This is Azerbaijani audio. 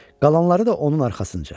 Qalanları da onun arxasıca.